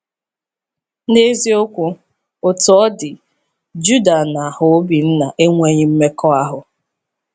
N’eziokwu, Otú ọ dị, Juda na harObinna enweghị mmekọahụ.